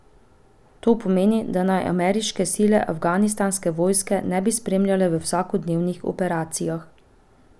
To pomeni, da naj ameriške sile afganistanske vojske ne bi spremljale v vsakodnevnih operacijah.